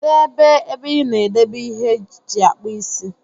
Kedu ebe ebe ina edebe ihe iji akpụ isi.